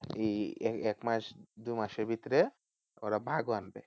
এই এক মাস দুমাসের ভিতরে ওরা বাঘও আনবে